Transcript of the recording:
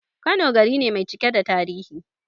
Kano gari ne mai cike da tarihi